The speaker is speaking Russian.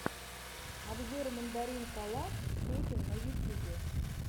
обзор мандаринкалав сетин в ютьюбе